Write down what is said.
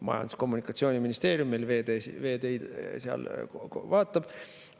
Majandus‑ ja Kommunikatsiooniministeerium meil veeteid vaatab.